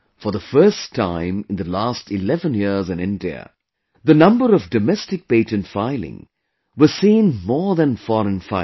For the first time in the last 11 years in India, the number of Domestic Patent Filing was seen more than Foreign Filing